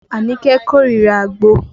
Anike korira àgbo